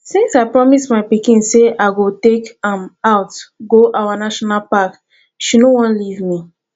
since i promise my pikin say i go take am out go our national park she no wan leave me